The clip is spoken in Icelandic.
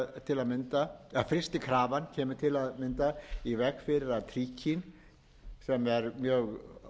til að mynda í veg fyrir að tríkína sem er mjög